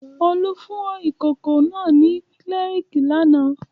Olú fún ìkókó náà ní Cerelac lánàá.